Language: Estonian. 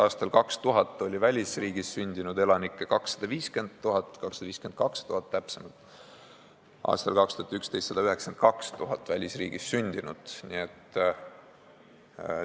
Aastal 2000 oli Eestis välisriigis sündinud elanikke 250 000, täpsemalt 252 000, ja aastal 2011 oli välisriigis sündinuid 192 000.